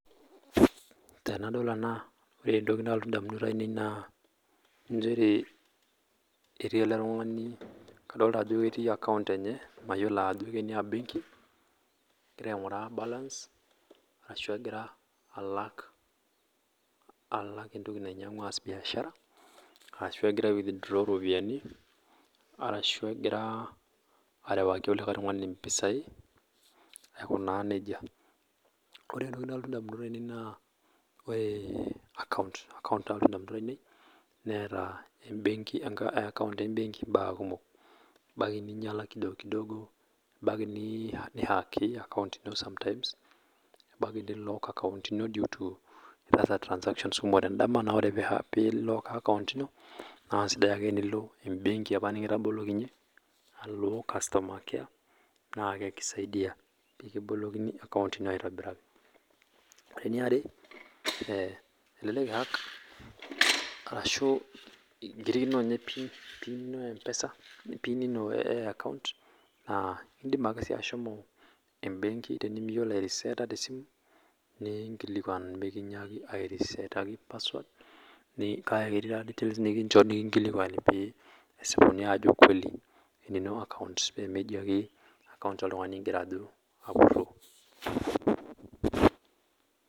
Tenadol ena ore entoki nalotu ndamunot ainei naa nchere etii ele tungani adolita ajo etii account enye mayiolo ake ajo kenia benki egirra aingurra balance ashu egirra alaak entoki nainyangua ashu egirra aas biashara ashu egira ai withdraw ropiyiani arashu egira arewaki olikae tungani mpisai aiko naa nejia ore entoki nalotu ndamunoto ainei naa ore account nalotu ndamunot ainei neeta account ee benki mbaa kumok ebaiki neinyala kidogokidogo ebaiki neihaki account ino sometimes ebaiki neilock account ino due to transactions kumok te ndama naa ore pee eilock account ino naa eisidai ake tenilo embenki apa nikitabolokinyeki alo customer care naa ekisaidia pee kibolokini account ino aitobiraki ore eniare naa elek eihack arashu kirikino ninye pin eempesa aa indim ake sii ashomo benki tenemiyiolo airiseeta te simu pee kinyaaki naa airiseetaki password kake ketii sii details ninchoru naitodolu ajo enino account pee meeji ake account oltungani ingirra apurro